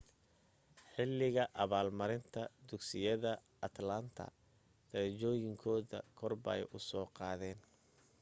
xilliga abaalmarinta dugsiyada atlanta derejooyinkooda korbay u soo qaadeen